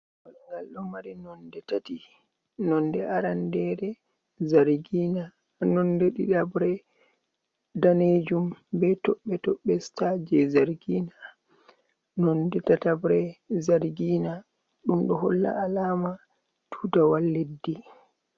Walgal do mari nonɗe tati, nonɗe arandere zargina, nonɗe ɗiɗabre danejum be toɓɓe toɓɓe star je zargina, nonɓe tatabre zargina dum ɗo holla alama tutawol leddi.